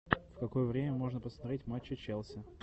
в какое время можно посмотреть матч челси